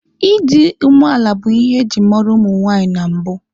Ịdị umeala bụ ihe eji mara ụmụ nwaanyị na mbụ.